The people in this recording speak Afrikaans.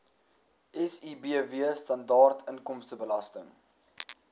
sibw standaard inkomstebelasting